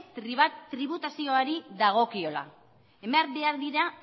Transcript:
tributazioari dagokiola eman behar dira